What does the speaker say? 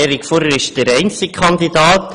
Erik Furrer ist der einzige Kandidat.